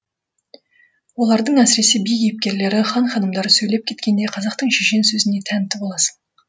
олардың әсіресе би кейіпкерлері хан ханымдары сөйлеп кеткенде қазақтың шешен сөзіне тәнті боласың